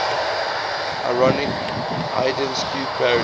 ironic haydnesque parody